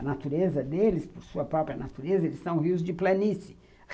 A natureza deles, por sua própria natureza, eles são rios de planície.